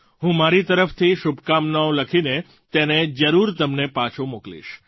હું મારી તરફથી શુભકામનાઓ લખીને તેને જરૂર તમને પાછો મોકલીશ